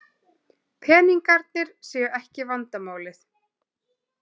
Peningarnir séu ekki vandamálið.